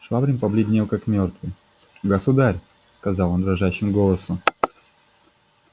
швабрин побледнел как мёртвый государь сказал он дрожащим голосом